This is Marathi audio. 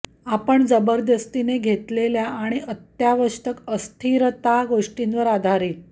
आपण जबरदस्तीने घेतलेल्या आणि अत्यावश्यक अस्थिरता आणि अत्यावश्यक अत्यावश्यक गोष्टींवर आधारित